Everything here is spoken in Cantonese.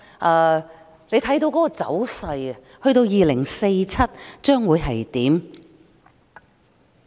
按照這個走勢，香港到2047年會變成怎樣？